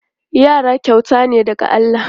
Yara kyauta ne daga Allah.